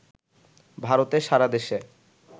ভারতে সারা দেশে